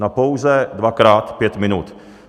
Na pouze dvakrát pět minut!